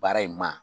Baara in ma